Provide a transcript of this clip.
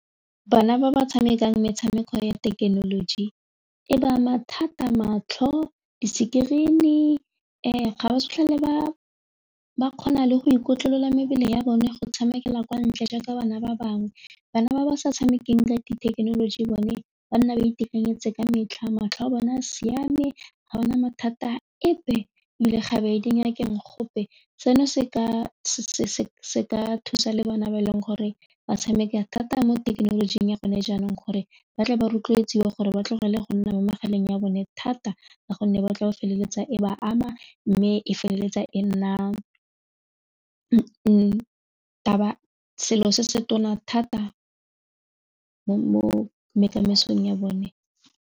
Bana ba ba tshamekang metshameko ya thekenoloji e ba ama thata matlho, di-screen-i ga ba sa tlhole ba ba kgona le go ikotlolela mebele ya bone go tshamekela kwa ntle jaaka bana ba bangwe, bana ba ba sa tshamekang ka di thekenoloji bone ba nna ba itekanetse ka metlha, matlho a bona siame ga ba na mathata epe ebile ga ba ye dingakeng gope, seno se ka thusa le bona ba e leng gore ba tshameka thata mo thekenolojing ya gone jaanong gore ba tla ba rotloetsiwe gore ba tlogele go nna mo megaleng ya bone thata ka gonne ba tla ba feleletsa e ba ama mme e feleletsa e nna selo se se tona thata mo ya bone.